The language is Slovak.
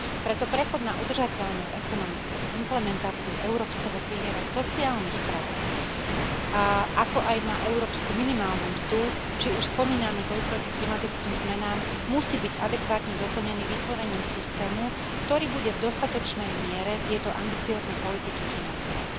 Preto prechod na udržateľnú ekonomiku, implementáciu európskeho piliera sociálnych práv a ako aj na európsku minimálnu mzdu, či už spomínaný boj proti klimatickým zmenám, musí byť adekvátne doplnený vytvorením systému, ktorý bude v dostatočnej miere tieto ambiciózne politiky financovať.